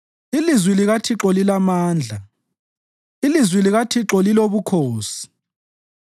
Ilizwi likaThixo lilamandla; ilizwi likaThixo lilobukhosi.